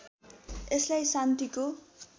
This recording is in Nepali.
यसलाई शान्तिको